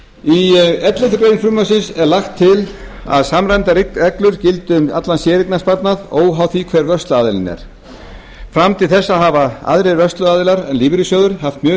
í elleftu greinar frumvarpsins er lagt til að samræmdar reglur gildi um allan séreignarsparnað óháð því hver vörsluaðilinn er fram til þessa hafa aðrir vörsluaðilar en lífeyrissjóðir haft mun